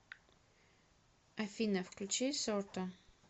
афина включи сорта